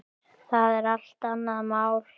Það er allt annað mál.